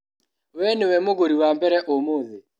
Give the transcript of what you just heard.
We nĩwe mũgũri wa mbere ũmũthĩ.